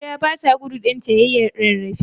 Barewa bata gudu ɗanta yayi rarrafe.